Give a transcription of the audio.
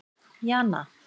Jana